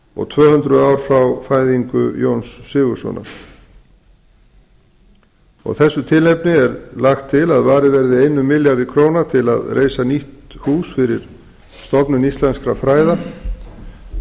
og tvö hundruð ár frá fæðingu jóns sigurðssonar af þessu tilefni er lagt til að varið verði einum milljarði til að reisa nýtt hús fyrir stofnun íslenskra fræða